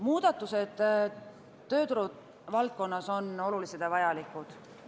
Muudatused tööturuvaldkonnas on olulised ja vajalikud.